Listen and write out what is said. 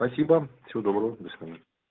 спасибо всего доброго до свидания